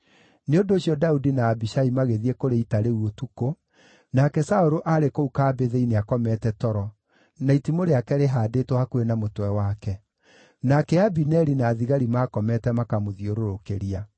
Nĩ ũndũ ũcio Daudi na Abishai magĩthiĩ kũrĩ ita rĩu ũtukũ, nake Saũlũ aarĩ kũu kambĩ thĩinĩ akomete toro, na itimũ rĩake rĩhaandĩtwo hakuhĩ na mũtwe wake. Nake Abineri na thigari maakomete makamũthiũrũrũkĩria.